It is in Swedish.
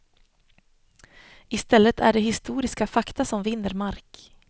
I stället är det historiska fakta som vinner mark.